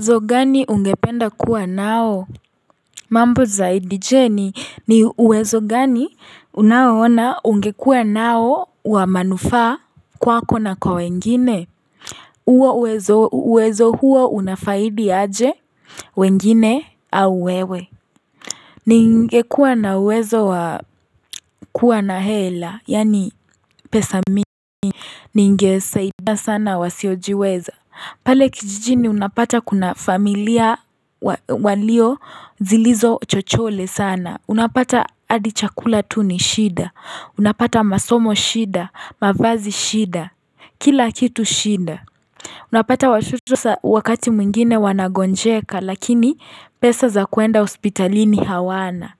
Uwezo gani ungependa kuwa nao mambo zaidi je ni uwezo gani unaoona ungekuwa nao wa manufaa kwako na kwa wengine huo uwezo uwezo huo unafaidi aje wengine au wewe ningekuwa na uwezo wa kuwa na hela yaani pesa mingi ningesaidia sana wasiojiweza pale kijijini unapata kuna familia walio zilizo chochole sana unapata hadi chakula tu ni shida unapata masomo shida mavazi shida kila kitu shida unapata wakati mwingine wanagonjeka lakini pesa za kuenda hospitalini hawana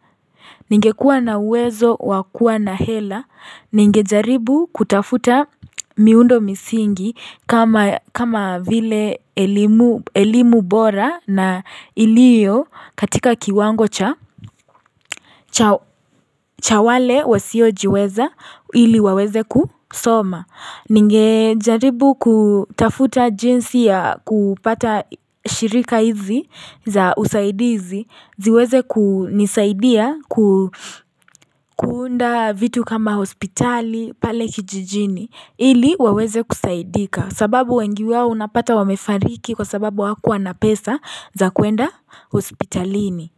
Ningekuwa na uwezo wa kuwa na hela, ningejaribu kutafuta miundo misingi kama vile elimu bora na iliyo katika kiwango cha cha wale wasiojiweza ili waweze kusoma Ningejaribu kutafuta jinsi ya kupata shirika hizi za usaidizi ziweze kunisaidia kuunda vitu kama hospitali pale kijijini ili waweze kusaidika sababu wengi wao unapata wamefariki kwa sababu hawakuwa na pesa za kuenda hospitalini.